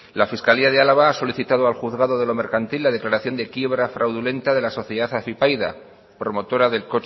la fiscalía de álava ha solicitado al juzgado de lo mercantil la declaración de quiebra fraudulenta de la sociedad afypaida promotora del